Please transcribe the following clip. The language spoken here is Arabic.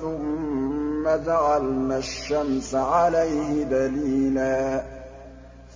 ثُمَّ جَعَلْنَا الشَّمْسَ عَلَيْهِ دَلِيلًا